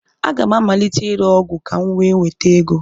Aga m amalite ire ọgwụ ka m wee nweta ego.